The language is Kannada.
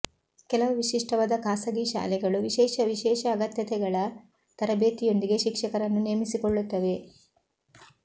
ಕೆಲವು ವಿಶಿಷ್ಟವಾದ ಖಾಸಗಿ ಶಾಲೆಗಳು ವಿಶೇಷ ವಿಶೇಷ ಅಗತ್ಯತೆಗಳ ತರಬೇತಿಯೊಂದಿಗೆ ಶಿಕ್ಷಕರನ್ನು ನೇಮಿಸಿಕೊಳ್ಳುತ್ತವೆ